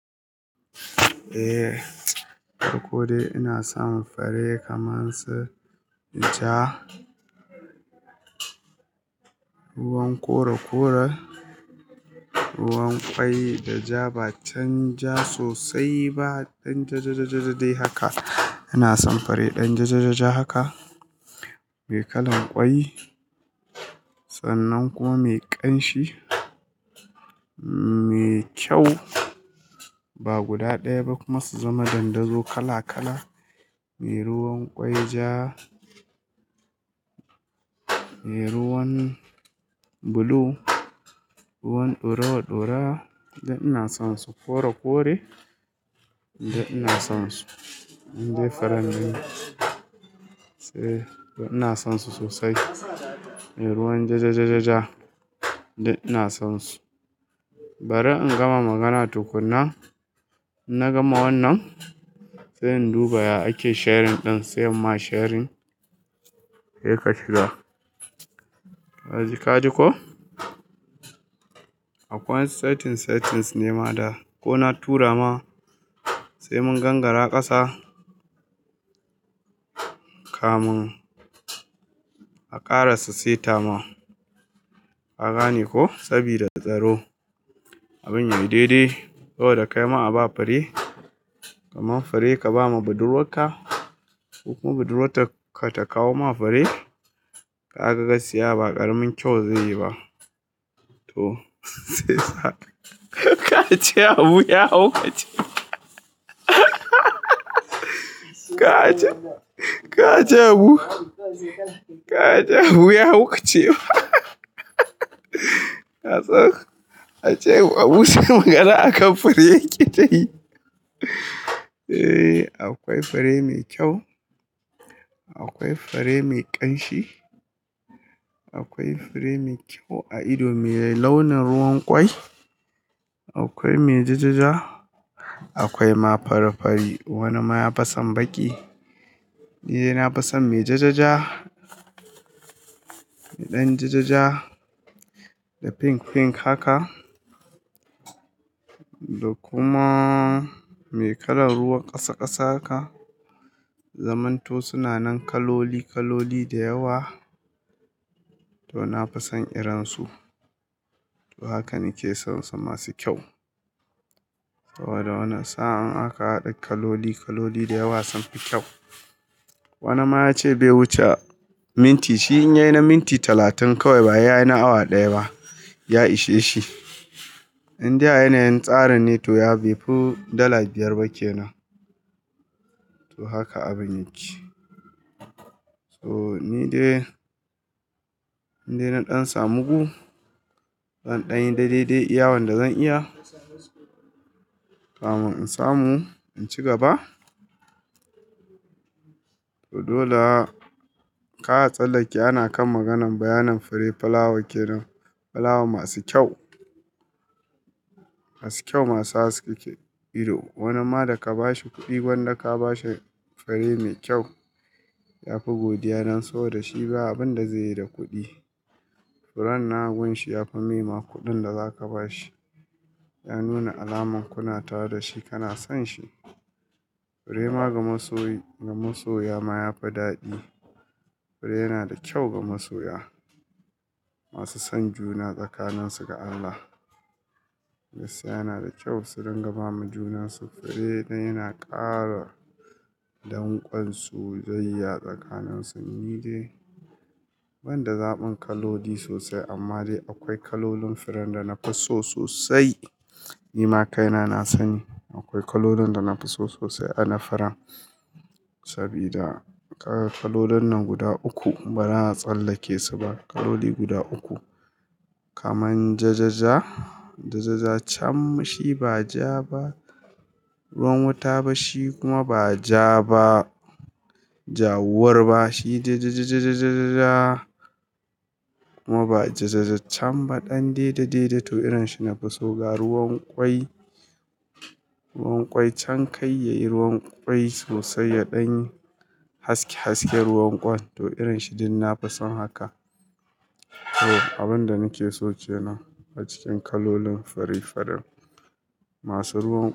Eh, to ko dai ina son fari kaman su ja, ruwan kora kora, ruwan kwai da ja, ba can ja sosai ba, ɗan jajajajaja dai haka. Ina son fari ɗan jajajaja haka, mai kalan kwai sannan kuma mai ƙanshi, mai kyau ba guda daya ba kuma su zama dandazo kala kala, me ruwan ƙwai ja, me ruwan blue, ruwan ɗorowaɗorowa. Dan ina son su kore kore dan ina son su, in dai faran nan sai da ina son su sosai, me ruwan jajajaja duk ina son su. Bari in gama magana tukuna, ina gama wannan sai in duba ya ake sharing ɗin sai ma sharing. Heka shiga, kaji ka ji ko? Akwai setting settings nema da ko na tura ma sai mun gangara ƙasa kamin a ƙara su seta ma. Ka gane koh? Sabida tsaro abin yayi daidai saboda kai ma a ba fare, kaman fare ka ba ma budurwarka kuma budurwarta ka ta kawo ma fare, kaga gaskiya ba ƙaramin kyau zai yi ba. To shi ya sa kar a ce Habu ya haukace. Ka a ce, ka ce Habu, ka a ce Habu ya haukace fa. Ka san A ce Habu, shi magana akan fare yake tayi. Eh, akwai fure mai kyau, akwai fure mai ƙanshi, akwai fare mai kyau a ido mai launin ruwan ƙwai. Akwai mai jajaja, akwai ma fari fari wani ya fi son baƙi. Ni dai na fi son mai jajaja, ɗan jajaja da pink pink haka. Da kuma mai kalan ruwan ƙasa ƙasa haka. Zamanto suna nan kaloli kaloli da yawa to na fi son irin su. To haka nake son su masu kyau. Saboda wane sa'a in aka haɗa kaloli kaloli da yawa sunfi kyau. Wani ma ya ce bai wuce minti shi in yayi na minti talatin kawai ba he yayi na awa daya ba, ya ishe shi. In dai a yanayin tsarin ne to ya bi fu dala biyar ba kenan. To haka abin yake. To ni dai, in dai na ɗan samu gu, zan ɗan yi daidai de iya wanda zan iya kamun in samu in ci gaba. To dole a ka tsallake ana kan maganan bayanan fare pulawa ke nan. Plawa masu kyau, masu kyau masu haskeke ido. Wani ma da ka bashi kuɗi gwanda ka bashe fare mai kyau, ya fi godiya dan so da shi ba abun da zaiyi da kuɗi. Furen nan a gun shi ya fi mema kuɗin da zaka ba shi. Ya nuna alaman kuna tara da shi, kana son shi. Fure ma ga masoyi, ga masoya ma ya fi daɗi. Fare yana da kyau ga masoya. Masu son juna tsakanin su ga Allah. Gaskiya yana da kyau su dinga bama junan su. Fare dan yana ƙara danƙon soyayya tsakanin su. Ni dai ban da zaɓin kaloli sosai amma dai akwai kalolin firen da na fi so sosai. Ni ma kaina na sani. Akwai kololin da nafi so sosai a na firan sabida kaga kalolin nan guda uku bara a tsallake su ba. Kaloli guda uku kaman jajaja, jajaja cam shi ba ja ba ruwan wuta ba shi kuma ba ja ba ja'wuwar ba. Shi jajajajajaja kuma ba jajajaja ba, ɗan daidai dai dai to irin shi nafi so. Ga ruwan ƙwai, ruwan ƙwai can kai yayi ruwan ƙwai sosai ya ɗanyi haske hasken ruwan ƙwan to irin shi din nafi son haka. To abun da nake so kenan a cikin kalolin farefaren masu ruwan.